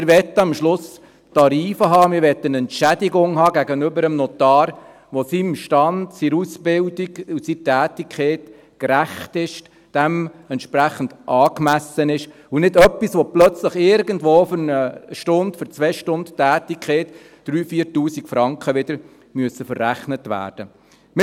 Wir möchten am Schluss Tarife haben, wir möchten eine Entschädigung des Notars haben, die seinem Stand, seiner Ausbildung und seiner Tätigkeit gerecht ist, dementsprechend angemessen ist – und nicht etwas, wofür plötzlich wieder irgendwo für eine Stunde, zwei Stunden Tätigkeit 3000, 4000 Franken verrechnet werden müssen.